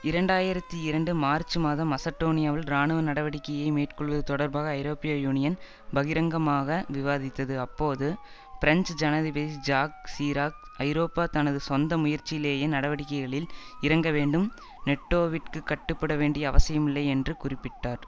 இரண்டாயிரத்தி இரண்டு மார்ச் மாதம் மசடோனியாவில் இராணுவ நடவடிக்கையை மேற்கொள்வது தொடர்பாக ஐரோப்பிய யூனியன் பகிரங்கமாக விவாதித்தது அப்போது பிரஞ்சு ஜனாதிபதி ஜாக் சிராக் ஐரோப்பா தனது சொந்த முயற்சியிலேயே நடவடிக்கைகளில் இறங்க வேண்டும் நெட்டோவிற்கு கட்டுப்பட வேண்டிய அவசியமில்லை என்று குறிப்பிட்டார்